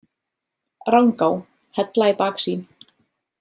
Rangá, Hella í baksýn.